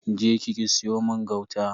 Je ki ki siyo mun gauta.